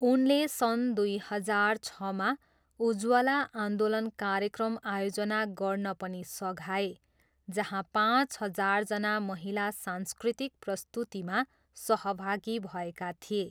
उनले सन् दुई हजार छमा 'उज्वला आन्दोलन' कार्यक्रम आयोजना गर्न पनि सघाए जहाँ पाँच हजारजना महिला सांस्कृतिक प्रस्तुतिमा सहभागी भएका थिए।